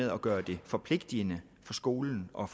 at gøre det forpligtende for skolen og